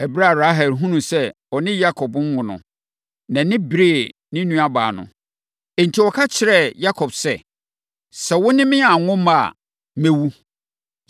Ɛberɛ a Rahel hunuu sɛ ɔne Yakob nwo no, nʼani beree ne nuabaa no. Enti, ɔka kyerɛɛ Yakob sɛ, “Sɛ wo ne me anwo mma a, mɛwu!”